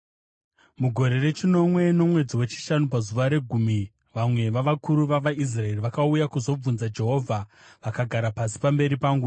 Mugore rechinomwe, nomwedzi wechishanu pazuva regumi, vamwe vavakuru vavaIsraeri vakauya kuzobvunza Jehovha, vakagara pasi pamberi pangu.